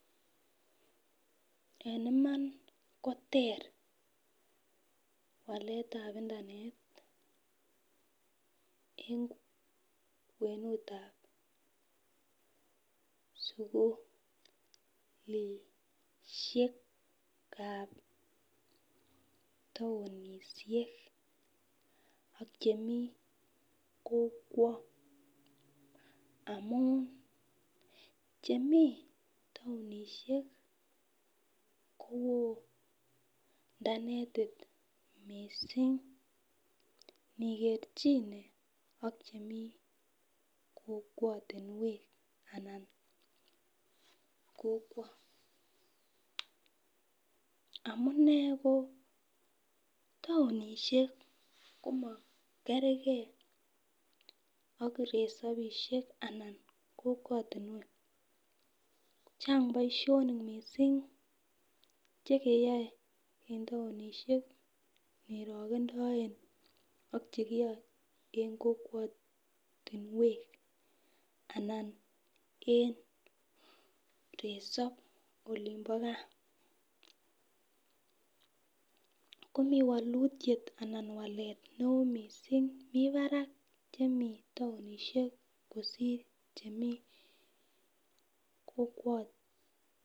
en iman ko teer waletab internetit eng kwenutab sukulisheekab taonishek ak chemii kokwo, amuun chemii taonishek koo inernetit mising nigerchine ak chemii kokwotinweek anan kokwo, amuunee ko taonishek komakergee ak resobishek anan kokwotinweek, chang boishonik mising chegeyoe en taonishek nirogendoen ak chekiyoe en kokwotinwek anan en resob olimbo gaa, komii wolutyeet anan waleet neoo mising, mii barak chemii taonishek kosiir chemii kokwo